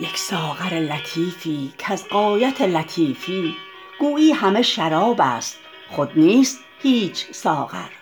یک ساغر لطیفی کز غایت لطیفی گویی همه شرابست خود نیست هیچ ساغر